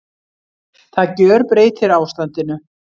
Það gjörbreytir ástandinu